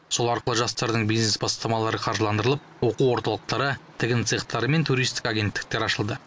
сол арқылы жастардың бизнес бастамалары қаржыландырылып оқу орталықтары тігін цехтары мен туристік агенттіктер ашылды